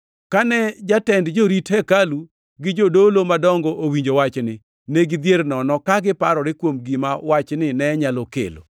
Kane jatend jorit hekalu gi jodolo madongo owinjo wachni, ne gidhier nono, ka giparore kuom gima wachni ne nyalo kelo.